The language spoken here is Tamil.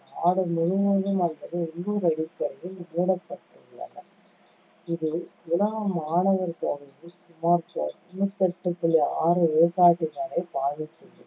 நாடு முழுவதும் அல்லது உள்ளூர் அடிப்படையில் மூடப்பட்டுள்ளன. இது உலக மாணவர் தொகையில் சுமார் தொண்ணூத்தி எட்டு புள்ளி ஆறு விழுக்காட்டினரை பாதித்துள்ளது